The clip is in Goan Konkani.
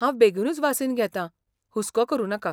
हांव बेगीनूच वासीन घेतां, हुस्को करु नाका.